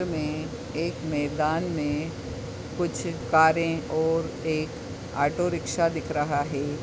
-- में एक मैदान में कुछ कारे और एक ऑटोरिक्शा दिख रहा है।